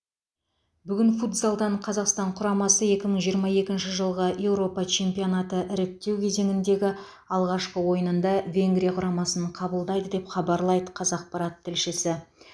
бүгін футзалдан қазақстан құрамасы екі мың жиырма екінші жылғы еуропа чемпионаты іріктеу кезеңіндегі алғашқы ойынында венгрия құрамасын қабылдайды деп хабарлайды қазақпарат тілшісі